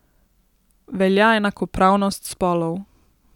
Velja enakopravnost spolov.